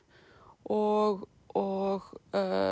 og og